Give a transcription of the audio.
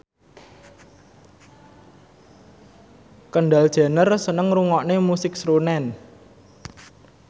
Kendall Jenner seneng ngrungokne musik srunen